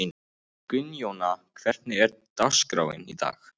Gunnjóna, hvernig er dagskráin í dag?